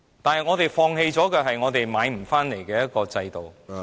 可是，我們放棄的是我們無法買回來的制度......